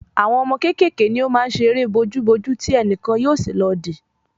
Àwọn ọmọ kékèké ni o maá n ṣe eré bojú bojú ti ẹnìkan yóò sì lọ di